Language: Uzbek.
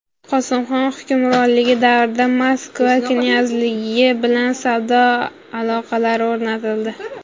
Qosimxon hukmronligi davrida Moskva knyazligi bilan savdo aloqalari o‘rnatildi.